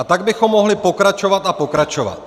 A tak bychom mohli pokračovat a pokračovat.